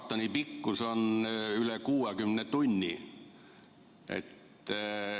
Maratoni pikkus on üle 60 tunni.